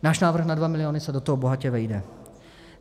Náš návrh na 2 miliony se do toho bohatě vejde.